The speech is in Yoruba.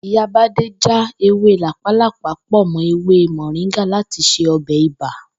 Ìyá Bádé já ewé làpálàpá pò̩ mó̩ ewé mò̩ríngà láti se o̩bè̩ ibà